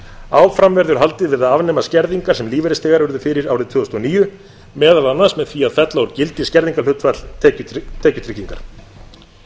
áfram verður haldið við að afnema skerðingar sem lífeyrisþegar urðu fyrir árið tvö þúsund og níu meðal annars með því að fella úr gildi skerðingarhlutfall tekjutryggingar mikilvægt er